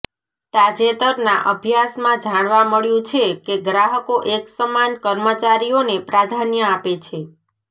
તાજેતરના અભ્યાસમાં જાણવા મળ્યું છે કે ગ્રાહકો એકસમાન કર્મચારીઓને પ્રાધાન્ય આપે છે